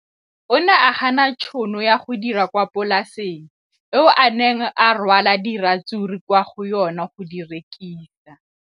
O ne a gana tšhono ya go dira kwa polaseng eo a neng rwala diratsuru kwa go yona go di rekisa.